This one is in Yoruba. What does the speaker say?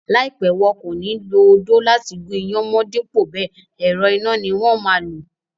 Láìpẹ́, wọn kò ní lo odó láti gún iyán mọ́n dípò bẹẹ̀, ẹ̀rọ iná ni wón máa lò.